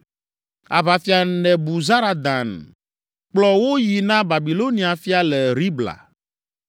Aʋafia Nebuzaradan kplɔ wo yi na Babilonia fia le Ribla.